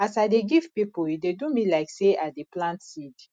as i dey give pipo e dey do me like sey i dey plant seed